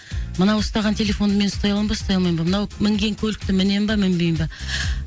мынау ұстаған телефонды мен ұстай аламын ба ұстай алмаймын ба мынау мінген көлікті мінемін ба мінбеймін ба